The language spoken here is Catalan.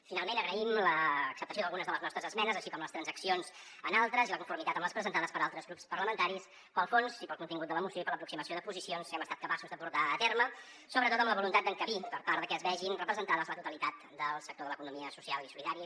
finalment agraïm l’acceptació d’algunes de les nostres esmenes així com les transaccions en altres i la conformitat amb les presentades per altres grups parlamentaris pel fons i pel contingut de la moció i per l’aproximació de posicions que hem estat capaços de portar a terme sobretot amb la voluntat d’encabir perquè s’hi vegi representada la totalitat del sector de l’economia social i solidària